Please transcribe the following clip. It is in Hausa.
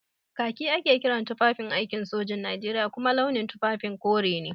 Kaki ake kiran tufafin aikin sojin Najeriya kuma launin tufafin kore ne.